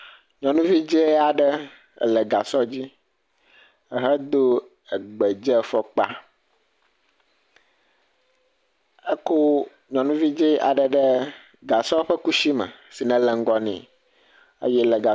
Nyɔnuvi dzɛ aɖe le gasɔ dzi ehedo gbedzefɔkpa. Ekɔ nyuvi dzɛe aɖe ɖe gasɔ ƒe kusi me si nele ŋgɔ nɛ.